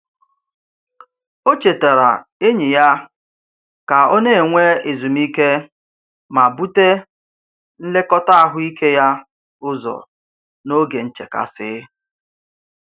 O chetaara enyi ya ka ọ na-enwe ezumike ma bute nlekọta ahụike ya ụzọ n'oge nchekasị.